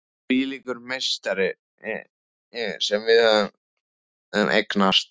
Hvílíkur meistari sem við höfum eignast!